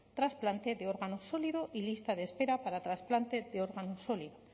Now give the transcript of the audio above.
trasplante de órgano sólido y lista de espera para trasplante de órgano sólido